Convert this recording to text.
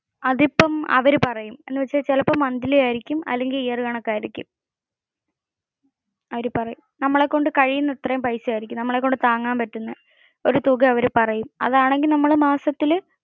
അതിപ്പോ അവര് പറയും. ചിലപ്പോ monthly ആയിരിക്കും അല്ലെങ്കിൽ year കണക്കു ആയിരിക്കും. അവര് പറയും. നമ്മളെ കൊണ്ട് കഴിയുന്ന അത്രേം പൈസ ആയിരിക്കും, നമ്മളെ കൊണ്ട് താങ്ങാൻ പറ്റുന്ന ഒരു തുക അവർ പറയും. അതാണെങ്കിൽ മാസത്തിൽ നമ്മള്